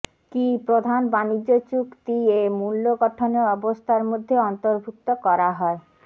কি প্রধান বাণিজ্য চুক্তি এ মূল্য গঠনের অবস্থার মধ্যে অন্তর্ভুক্ত করা হয়